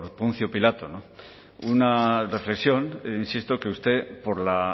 poncio pilato una reflexión insisto que usted por la